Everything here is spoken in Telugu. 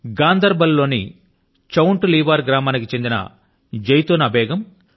గాందర్ బల్ లోని చౌంట్ లీవార్ గ్రామానికి చెందిన జైతూనా బేగమ్